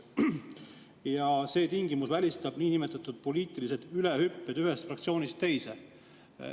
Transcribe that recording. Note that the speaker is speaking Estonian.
– R. K.] See tingimus välistab nn poliitilised ülehüppamised ühest fraktsioonist teise.